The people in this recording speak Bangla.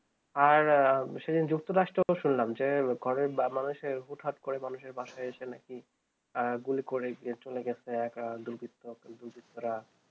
আর সেই দিন যুক্ত রাষ্ট্র শুনলাম যে ঘরের মানুষের হুটহাট করে মানুষের বাসায় আছে না কি গুলি করে চলে গেছে একা দুই বিত্তক দুই বিত্ররা